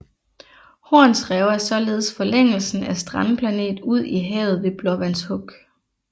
Horns Rev er således forlængelsen af strandplanet ud i havet ved Blåvands Huk